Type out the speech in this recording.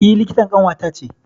E likitan ƙanwata ce.